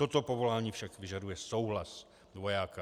Toto povolání však vyžaduje souhlas vojáka.